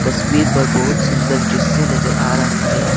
तस्वीर पर बहुत सुंदर दृश्य नजर आ रहा है।